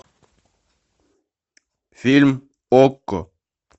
фильм окко